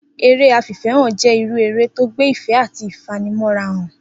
Eré afìfé̩hàn jé̩ irú eré tó gbé ìfé̩ àti ìfanimó̩ra hàn